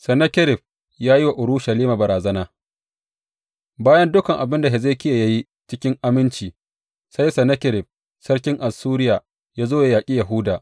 Sennakerib ya yi wa Urushalima barazana Bayan dukan abin da Hezekiya ya yi cikin aminci, sai Sennakerib sarkin Assuriya ya zo ya yaƙi Yahuda.